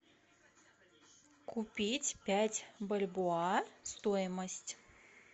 купить пять бальбоа стоимость